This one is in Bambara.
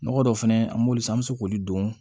Nɔgɔ dɔ fɛnɛ an b'olu san an be se k'olu don